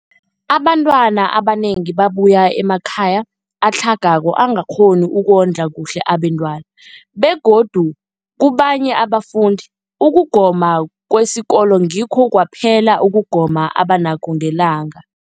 Abantwana abanengi babuya emakhaya atlhagako angakghoni ukondla kuhle abentwana, begodu kabanye abafundi, ukugoma kwesikolweni ngikho kwaphela ukugoma abanakho ngelanga.